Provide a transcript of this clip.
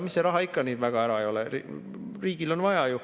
Mis see raha ikka nii väga ära ei ole, riigil on vaja ju.